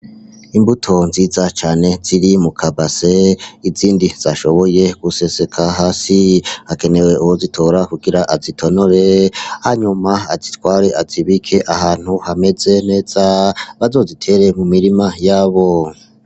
Imbuto nziza cane ziri mu kabase n'izindi zashoboye guseseka hasi. Hakenewe uwozitora kugira azitonore hanyuma azitware azibike ahantu hameze neza, bazozitere mu mirima yabo.